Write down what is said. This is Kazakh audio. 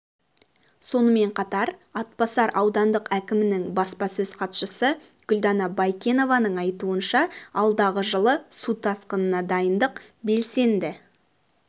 сонымен қатар атбасар аудандық әкімінің баспасөз хатшысы гүлдана байкенованың айтуынша алдағы жылы су тасқынына дайындық белсенді